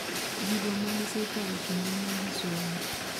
Gigo ma gisekale kinde magisomo.